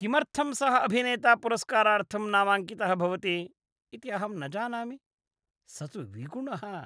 किमर्थं सः अभिनेता पुरस्कारार्थं नामाङ्कितः भवति इति अहं न जानामि। स तु विगुणः।